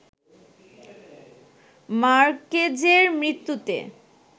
মার্কেজের মৃত্যুতে